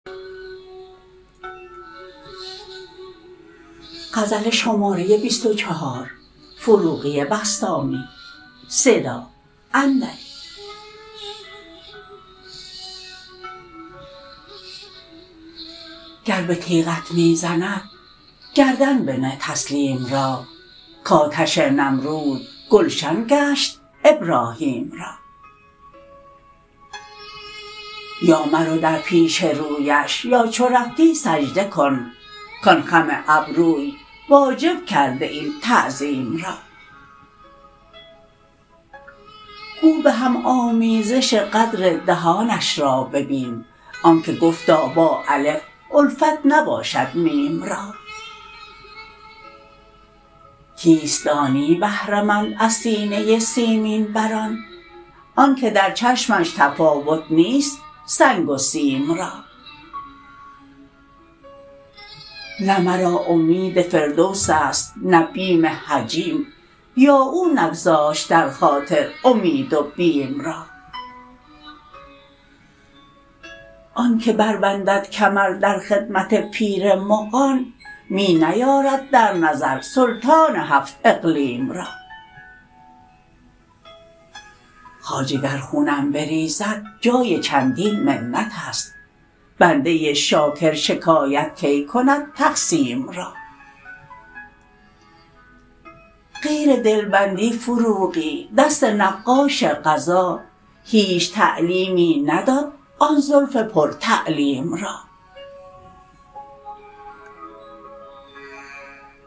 گر به تیغت می زند گردن بنه تسلیم را که آتش نمرود گلشن گشت ابراهیم را یا مرو در پیش رویش یا چو رفتی سجده کن کان خم ابروی واجب کرده این تعظیم را گو به هم آمیزش قدر دهانش را ببین آن که گفتا با الف الفت نباشد میم را کیست دانی بهره مند از سینه سیمین بران آن که در چشمش تفاوت نیست سنگ و سیم را نه مرا امید فردوس است نه بیم جحیم یا که او نگذاشت در خاطر امید و بیم را آن که بر بندد کمر در خدمت پیر مغان می نیارد در نظر سلطان هفت اقلیم را خواجه گر خونم بریزد جای چندین منت است بنده شاکر شکایت کی کند تقسیم را غیر دلبندی فروغی دست نقاش قضا هیچ تعلیمی نداد آن زلف پر تعلیم را